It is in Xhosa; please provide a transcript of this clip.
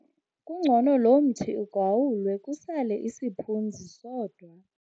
Kungcono lo mthi ugawulwe kusale isiphunzi sodwa.